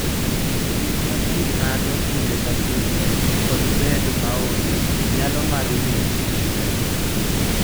Gik ma ji ng�ado kinde ka kinde, kod bedo maonge nyalo mar winjo gi ng�uono.